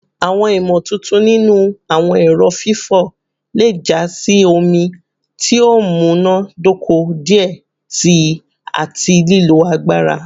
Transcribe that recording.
Awọn imotuntun ninu awọn ẹrọ fifọ le ja si omi ti o munadoko diẹ sii ati lilo agbara